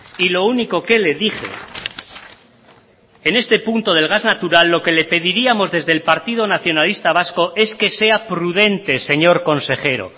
y lo único que le dije en este punto del gas natural lo que le pediríamos desde el partido nacionalista vasco es que sea prudente señor consejero